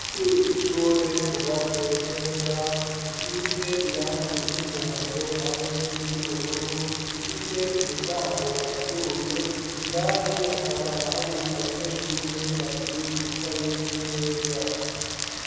C'ishure cubatse neza gisize irangi iry'umuhondo hamwe n'iry'ubururu gifise umuryango wuguruye indani hakaba hari abanyeshure babiri bicaye ku meza.